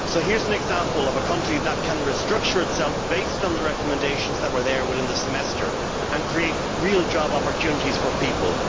So here is an example of a country that can restructure itself based on the recommendations that were there within the Semester and create real job opportunities for people.